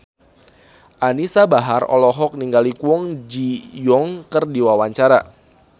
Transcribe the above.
Anisa Bahar olohok ningali Kwon Ji Yong keur diwawancara